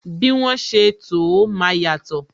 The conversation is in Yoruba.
Bí wọn ṣe to ó, máa yàtò